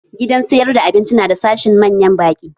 Gidan siyar da abinci na da sashin manyan ɓaki